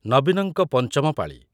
ନବୀନଙ୍କ ପଞ୍ଚମ ପାଳି